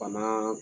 Bana